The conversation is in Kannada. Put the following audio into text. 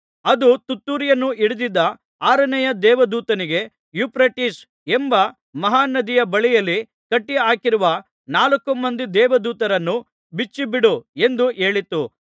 ಅದು ತುತ್ತೂರಿಯನ್ನು ಹಿಡಿದಿದ್ದ ಆರನೆಯ ದೇವದೂತನಿಗೆ ಯೂಫ್ರೆಟಿಸ್ ಎಂಬ ಮಹಾ ನದಿಯ ಬಳಿಯಲ್ಲಿ ಕಟ್ಟಿಹಾಕಿರುವ ನಾಲ್ಕು ಮಂದಿ ದೇವದೂತರನ್ನು ಬಿಚ್ಚಿಬಿಡು ಎಂದು ಹೇಳಿತು